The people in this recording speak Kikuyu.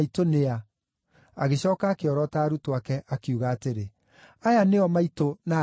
Agĩcooka akĩorota arutwo ake, akiuga atĩrĩ, “Aya nĩo maitũ na ariũ a maitũ.